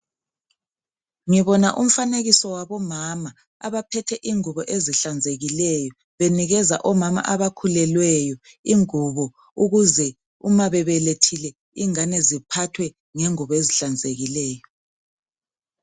Ngibona umfanekiso wabomama abaphethe ingubo ezihlanzekileyo, benikeza omama abakhulelweyo ingubo ukuze umabebelethile, ingane ziphathwe ngengubo ezihlanzekileyo.